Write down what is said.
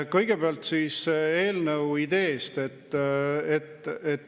Kõigepealt siis eelnõu ideest.